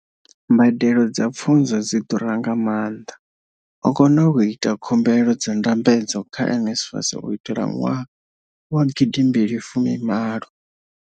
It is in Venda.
Mbadelo dza pfunzo dzi ḓura nga maanḓa. O kona u ita khumbelo dza ndambedzo kha NSFAS u itela ṅwaha wa 2018.